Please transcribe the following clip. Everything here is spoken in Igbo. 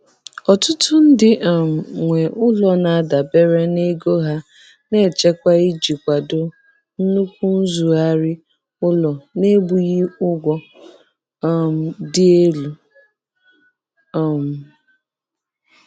Ọtụtụ ndị um nwe ụlọ na-adabere na ego ha na-echekwa iji kwado nnukwu nrụzigharị ụlọ na-ebughị ụgwọ um dị elu. um